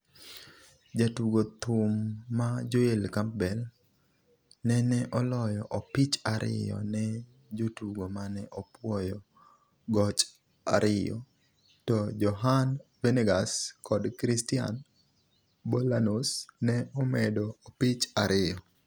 Jatugo thum ma Joel Campbell nene oloyo opich ariyo ne jotugo mane opuoyo goch ariyo, to Johan Venegas kod Christian Bolanos ne omedo opich ariyo.